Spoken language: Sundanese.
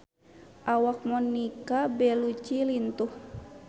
Awak Monica Belluci lintuh